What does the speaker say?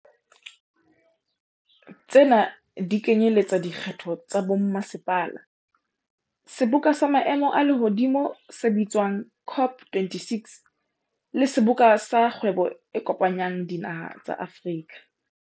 Tsena di kenyeletsa dikgetho tsa bommasepala, seboka sa maemo a lehodimo se bitswang COP26, le Seboka sa Kgwebo e Kopanyang Dinaha tsa Afrika.